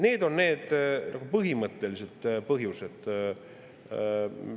Need on need põhimõttelised põhjused.